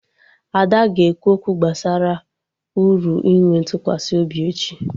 Ada ga-ekwu okwu gbasara uru inwe ntụkwasị obi echi